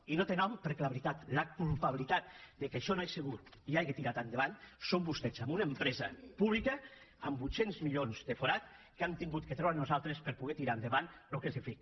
i no té nom perquè la veritat la culpabilitat que això no hagi sigut ni hagi tirat endavant són vostès amb una empresa pública amb vuit cents milions de forat que hem hagut de treure nosaltres per poder tirar endavant el que s’ha fet